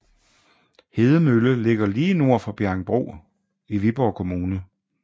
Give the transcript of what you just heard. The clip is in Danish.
Hedemølle ligger lige nord for Bjerringbro i Viborg Kommune